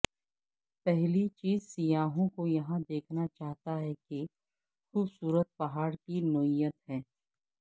پہلی چیز سیاحوں کو یہاں دیکھنا چاہتا ہے کہ خوبصورت پہاڑ کی نوعیت ہے